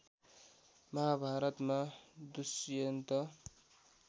महाभारतमा दुष्यन्त